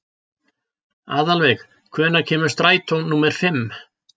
Aðalveig, hvenær kemur strætó númer fimm?